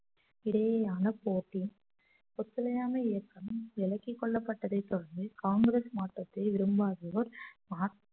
இடையேயான போட்டி ஒத்துழையாமை இயக்கம் விலக்கிக் கொள்ளப்பட்டதைத் தொடர்ந்து காங்கிரஸ் மாற்றத்தை விரும்பாதோர்